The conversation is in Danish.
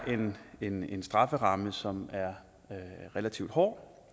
en en strafferamme som er relativt hård